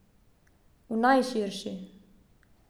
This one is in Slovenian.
V najširši.